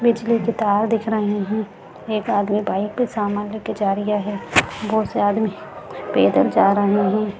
बिजली के तार दिख रहें हैं एक आदमी बाइक पे सामान ले के जा रिया है बहुत से आदमी पैदल जा रहें हैं।